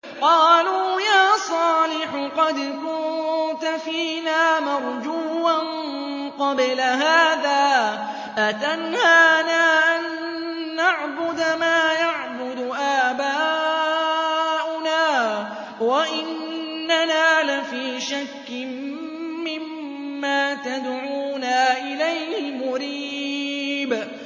قَالُوا يَا صَالِحُ قَدْ كُنتَ فِينَا مَرْجُوًّا قَبْلَ هَٰذَا ۖ أَتَنْهَانَا أَن نَّعْبُدَ مَا يَعْبُدُ آبَاؤُنَا وَإِنَّنَا لَفِي شَكٍّ مِّمَّا تَدْعُونَا إِلَيْهِ مُرِيبٍ